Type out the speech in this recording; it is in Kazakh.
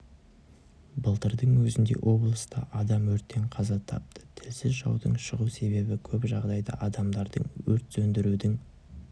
былтырдың өзінде облыста адам өрттен қаза тапты тілсіз жаудың шығу себебі көп жағдайда адамдардың өрт сөндірудің